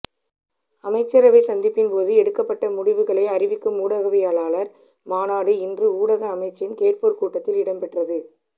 அமைச்சரவை சந்திப்பின்போது எடுக்கப்பட்ட முடிவுகளை அறிவிக்கும் ஊடகவியலாளர் மாநாடு இன்று ஊடக அமைச்சின் கேட்போர் கூடத்தில் இடம்பெற்றது